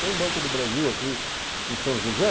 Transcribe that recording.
Tem Banco do Brasil aqui em São José?